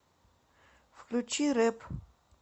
включи рэп